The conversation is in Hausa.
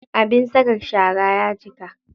Abin saka shara ya cika.